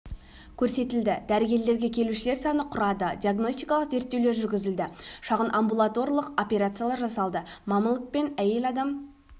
көрсетілді дәрігерлерге келушілер саны құрады диагностикалық зерттеулер жүргізілді шағын амбулаторлық операциялар жасалды маммологпен әйел адам